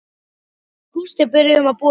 Við Gústi byrjuðum að búa saman.